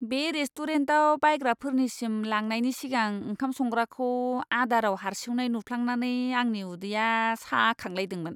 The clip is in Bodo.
बे रेस्टुरेन्टआव बायग्राफोरनिसिम लांनायनि सिगां ओंखाम संग्राखौ आदाराव हार्सिउनाय नुफ्लांनानै आंनि उदैया साखांलायदोंमोन!